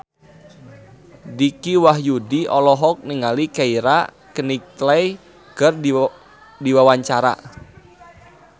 Dicky Wahyudi olohok ningali Keira Knightley keur diwawancara